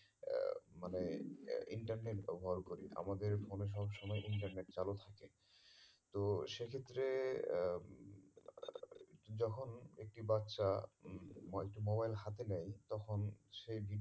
মানে আহ internet ব্যবহার করি আমাদের phone এ সব সময় internet চালু থাকে তো সে ক্ষেত্রে আহ আ যখন একটি বাচ্ছা একটি mobile হাতে নেয় তখন সে